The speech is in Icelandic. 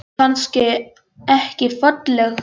Er það kannski ekki falleg hugsjón?